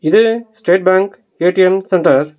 இது state bank ATM centre .